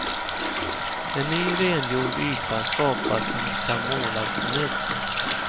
En ny rengjord yta skapas som kan målas på nytt.